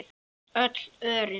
Öll örin.